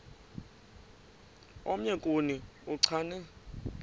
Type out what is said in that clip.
omnye kuni uchane